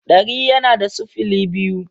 dari yana da sifili biyu.